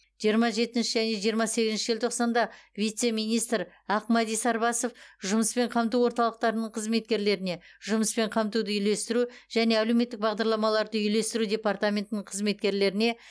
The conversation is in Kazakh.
жиырма жетінші және жиырма сегізінші желтоқсанда вице министр ақмәди сарбасов жұмыспен қамту орталықтарының қызметкерлеріне жұмыспен қамтуды үйлестіру және әлеуметтік бағдарламаларды үйлестіру департаментінің қызметкерлеріне